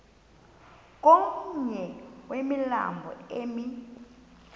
komnye wemilambo emi